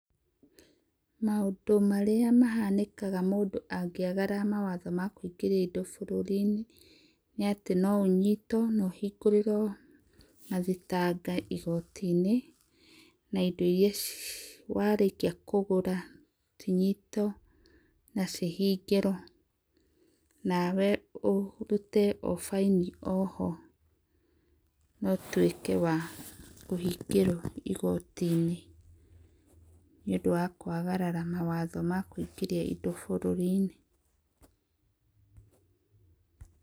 Maũndũ marĩa mahanĩkaga mũndũ angĩagarara mawatho makũingĩria indo bũrũri-inĩ nĩ atĩ no ũnyitwo na ũhingũrĩrwo mathitanga igoti-inĩ, na indo iria warĩkia kũgũra cinyitwo na cihingĩrwo. Nawe, ũrute o fine o ho na ũtuĩke wa kũhingĩrwo igoti-inĩ, nĩ ũndũ wa kũagarara mawatho ma kũingĩria indo bũrũri-inĩ.